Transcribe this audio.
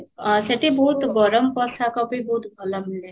ଆ ସେଠି ଗରମ ପୋଷାକ ବି ବହୁତ ଭଲ ମିଳେ